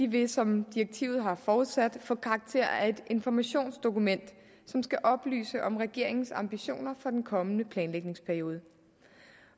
vil som direktivet har forudsat få karakterer af et informationsdokument som skal oplyse om regeringens ambitioner for den kommende planlægningsperiode